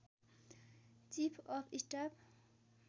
chief of staff